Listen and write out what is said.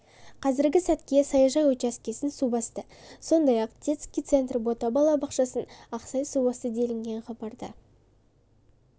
қазіргі сәтке саяжай учаскесін су басты сондай-ақ детский центр бота балабақшасын ақсай су басты делінген хабарда